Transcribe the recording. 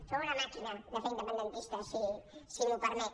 sou una màquina de fer independentistes si m’ho permet